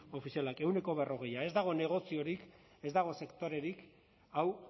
ofizialak ehuneko berrogei ez dago negoziorik ez dago sektorerik hau